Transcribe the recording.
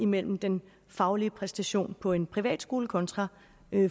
mellem den faglige præstation på en privatskole kontra